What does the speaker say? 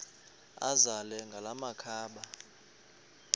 azele ngala makhaba